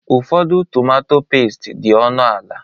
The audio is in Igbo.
Ụfọdụ tomatọ pẹ́sti dị ọnụ ala.